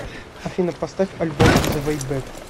афина поставь альбом зэ вэй бэк